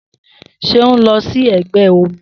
Seun lọ sí ẹgbẹ́ omi